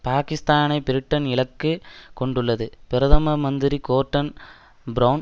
பாக்கிஸ்தானை Britain இலக்கு கொண்டுள்ளது பிரதம மந்திரி கோர்டன் பிரெளன்